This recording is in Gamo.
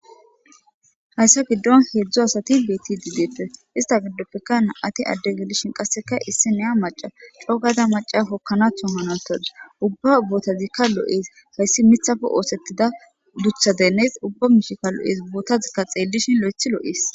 Hayssa giddon heedzdzo asati beeti diideeppe ista giddoppekana ati adde gelishin qasseka issi neya maca cogada maca kokkanathon hanawutadi ubba ubbotazikka lo'ees hayssi mitafe oosettida dutha deneys ubba mishika lo'ees bootazikka xeellishin lo'ethi lo'ees.